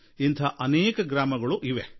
ಇಂಥ ಅನೇಕ ಗ್ರಾಮಗಳು ನಮ್ಮಲ್ಲಿ ಇವೆ